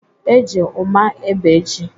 E ji ụma ébé ji